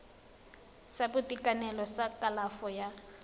sa boitekanelo sa kalafo ya